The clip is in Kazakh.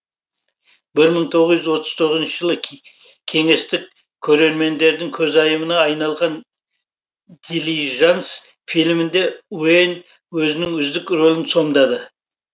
жылы кеңестік көрермендердің көзайымына айналған дилижанс фильмінде уэйн өзінің үздік рөлін сомдады